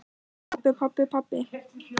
Pabbi, pabbi, pabbi.